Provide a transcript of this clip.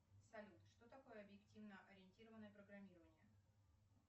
салют что такое объективно ориентированное программирование